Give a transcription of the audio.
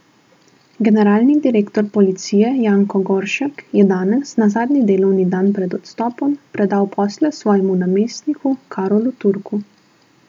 Generalni direktor policije Janko Goršek je danes, na zadnji delovni dan pred odstopom, predal posle svojemu namestniku Karolu Turku.